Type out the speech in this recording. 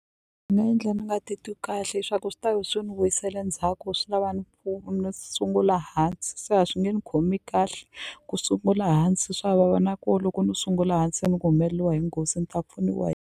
Swi nga endla ni nga titwi kahle hi swa ku swi ta ve swi ni vuyisela ndzhaku swi lava ni ni sungula hansi se a swi nge ni khomi kahle ku sungula hansi swa vava nako loko ni sungula hansi ni ku humeleliwa hi nghozi ni ta pfuniwa .